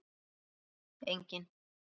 Nei, enginn.